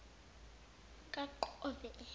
kaqove